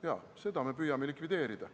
Jaa, seda me püüame likvideerida.